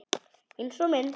Einsog minn.